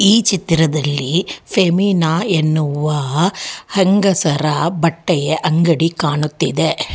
ಈ ಚಿತ್ರದಲ್ಲಿ ಫೆಮಿನಾ ಎನ್ನುವ ಹೆಂಗಸರ ಬಟ್ಟೆಯ ಅಂಗಡಿ ಕಾಣುತ್ತಿದೆ.